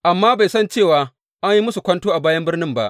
Amma bai san cewa an yi masa kwanto a bayan birnin ba.